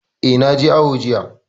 Eh, na je awo jiya